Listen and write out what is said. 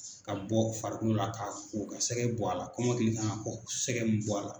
Ka bɔ farikolo la ka ko ka sɛgɛ bɔ a la, kɔmɔkili kan ka ko sɛgɛ bɛ bɔ a la.